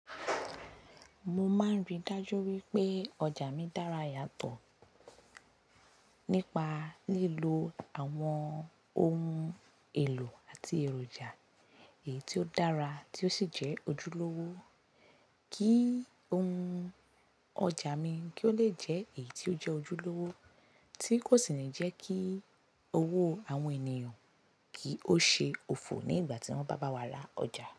Mo máa ń rí dájú wípé ọjà mi dára yàtọ̀ nípa lílo àwọn ohun èlò àti èròjà èyí tí ó dára tí ó sì jẹ́ ojúlówó. Kí ohun ọjà mi kí ó lè jẹ́ èyí tí ó jẹ́ ojúlówó, tí kò sì ní jẹ́ kí owó àwọn ènìyàn kí ó ṣe òfò ní ìgbà tí wọ́n bá bá wa ra ọjà.